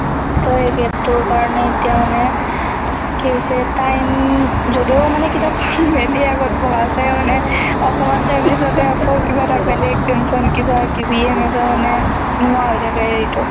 so সেই gap টোৰ কাৰনে এতিয়া মানে কি হৈছে time~উম, যদিও মানে কিতাপ খন মেলি আগত বহা যাই, মানে অকমান time পিছতে আকৌ কিবা এটা বেলেগ tension। কিবা কিবি এনেকে মানে নোহোৱা হৈ থাকে হেৰিতো।